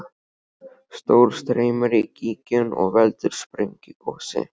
Sjór streymir í gíginn og veldur sprengigosi.